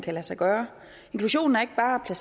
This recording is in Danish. kan lade sig gøre inklusion er ikke bare at